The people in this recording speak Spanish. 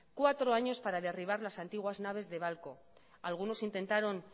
cuatro años para derribar las antiguas naves de babcock algunos intentaron